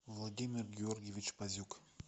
владимир георгиевич пазюк